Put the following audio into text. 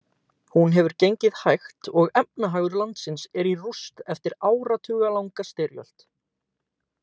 Hún hefur gengið hægt og efnahagur landsins er í rúst eftir áratugalanga styrjöld.